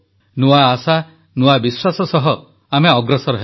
ନୂଆ ଆଶା ନୂଆ ବିଶ୍ୱାସ ସହ ଆମେ ଅଗ୍ରସର ହେବା